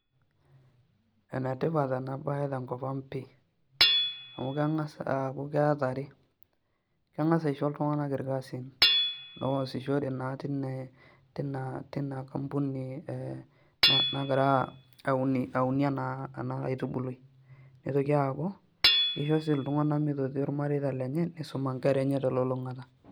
Enetipat enabaye tenkop ang' pii amu keng'as aaku keeta are, keng'as aisho iltung'anak irkasin loosishore naa tina kampuni ee nagira aunie ena aitubului, nitoki aaku kisho sii iltung'anak mitotio irmareita lenye nisuma nkera enye telulung'ata.